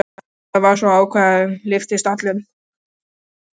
Maðurinn var svo ákafur, lyftist allur.